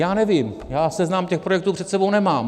Já nevím, já seznam těch projektů před sebou nemám.